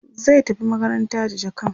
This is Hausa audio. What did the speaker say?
zai tafi makaranta da jakan